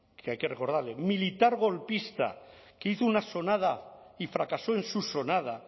que hay que recordarle militar golpista que hizo una sonada y fracasó en su sonada